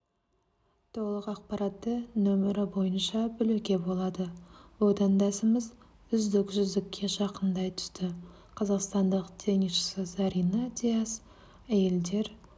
толық ақпараттарды нөмірі бойынша білуге болады отандасымыз үздік жүздікке жақындай түсті қазақстандық теннисші зарина дияс әйелдер